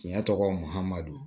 Tiɲɛ tɔgɔ mahamadu